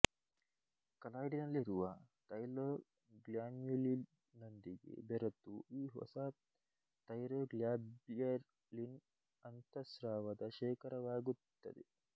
ಕಲಾಯ್ಡಿನಲ್ಲಿರುವ ತೈರೊಗ್ಲಾಮ್ಯುಲಿನ್ನೊಂದಿಗೆ ಬೆರೆತು ಈ ಹೊಸ ತೈರೊಗ್ಲಾಬ್ಯಲಿನ್ ಅಂತಃಸ್ರಾವದ ಶೇಖರವಾಗಿರುತ್ತದೆ